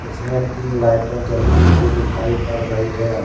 इसमे तीन लाइटे जलती हुई दिखाई पड़ रही है।